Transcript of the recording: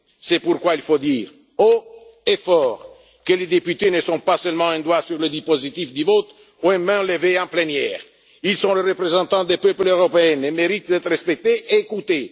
week ends. C'est pourquoi il faut dire haut et fort que les députés ne sont pas seulement un doigt sur le dispositif de vote ou une main levée en plénière ils sont les représentants des peuples européens et méritent d'être respectés et